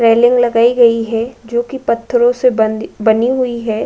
Railing लगाई गई है जोकि पत्थरों से बनी बनी हुई है।